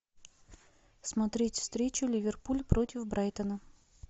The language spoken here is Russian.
смотреть встречу ливерпуль против брайтона